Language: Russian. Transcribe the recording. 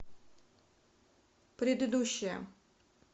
предыдущая